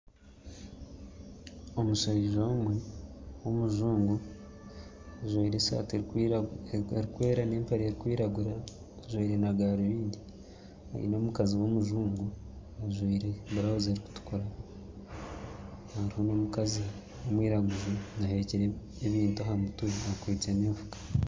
Omushaija omwe w'omujungu ajwire esati erukwera n'empare erukwiragura ajwire na garubindi aine omukazi w'omujungu ajwire burawuzi erukutukura haruho n'omukazi omwiraguju ahekire ebintu ahamutwe akwitse n'enfuka.